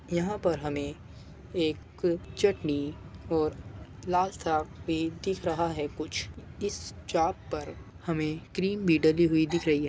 यहां पर हमें एक चटनी और लाल सा भी दिख रहा है कुछ इस चाप पर हमें क्रीम भी डाली हुई दिख रही है|